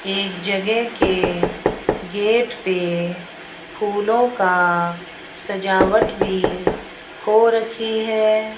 एक जगह के गेट पे फूलों का सजावट भी हो रखी है।